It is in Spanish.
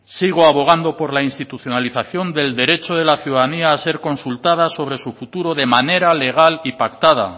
sigo abogando por la institucionalización del derecho de la ciudadanía a ser consultada sobre su futuro de manera legal y pactada